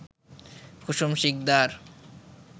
Kusum Sikdar